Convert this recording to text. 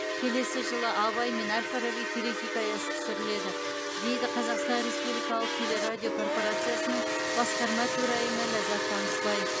келесі жылы абай мен әл фараби телехикаясы түсіріледі дейді қазақстан республикалық телерадио корпорациясының басқарма төрайымы ләззат танысбай